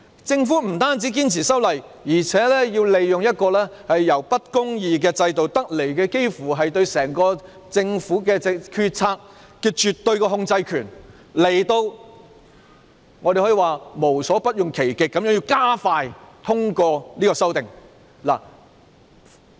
政府不單堅持修例，還要利用一個由不公義制度得來，對整個政府決策的絕對控制權，可以說是無所不用其極地加快通過修訂。